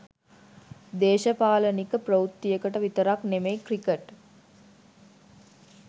දේශපාලනික ප්‍රවෘත්තියකට විතරක් නෙමෙයි ක්‍රිකට්